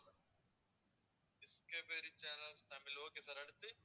Discovery channel Tamil okay sir அடுத்து